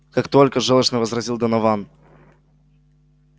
как только жёлчно возразил донован